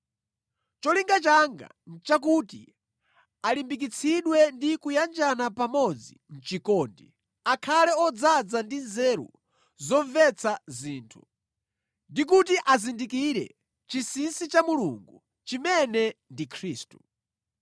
Cholinga changa nʼchakuti alimbikitsidwe ndi kuyanjana pamodzi mʼchikondi, akhale odzaza ndi nzeru zomvetsa zinthu, ndi kuti azindikire chinsinsi cha Mulungu, chimene ndi Khristu.